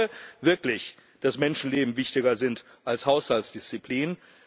Ich glaube wirklich, dass Menschenleben wichtiger sind als Haushaltsdisziplin.